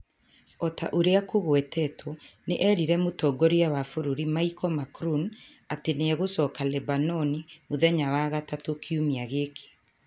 O ta ũrĩa kũgwetetwo, nĩ eerire Mũtongoria wa bũrũri Michel Macroun atĩ nĩ egũcoka Lebanoni mũthenya wa Gatatu kiumia gĩkĩ.